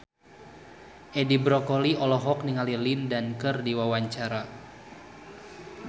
Edi Brokoli olohok ningali Lin Dan keur diwawancara